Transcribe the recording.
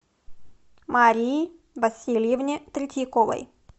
марии васильевне третьяковой